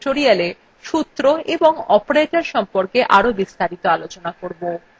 আমরা পরবর্তী কোনো tutorialswe সূত্র এবং operators সম্পর্কে আরো বিস্তারিত আলোচনা করবো